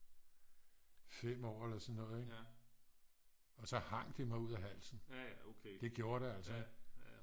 5 år eller sådan noget ik og så hang det mig ud af halsen det gjorde det altså